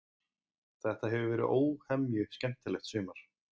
Þetta hefur verið óhemju skemmtilegt sumar.